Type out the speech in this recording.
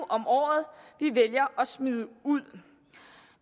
om året vi vælger at smide ud